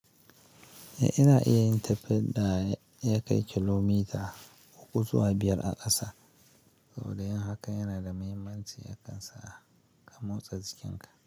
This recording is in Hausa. Eh ina iya yin tafiyarda ya kai kilomita uku zuwa biyar a ƙasa. Saboda yin haka yana da mahimmanci, yakan sa ka motsa jikinka.